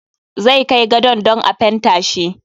Zai kai gadon dan a fenta shi.